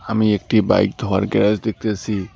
আমি একটি বাইক ধোয়ার গ্যারাজ দেখতাসি।